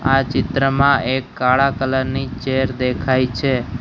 આ ચિત્રમાં એક કાળા કલર ની ચેર દેખાય છે.